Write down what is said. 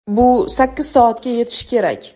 Bu sakkiz soatga yetishi kerak.